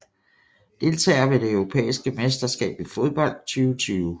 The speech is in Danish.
Deltagere ved det europæiske mesterskab i fodbold 2020